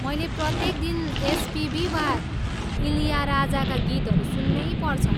मैले प्रत्येक दिन एसपिबी वा इल्याराजाका गीतहरू सुन्नैपर्छ।